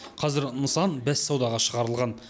қазір нысан бәссаудаға шығарылған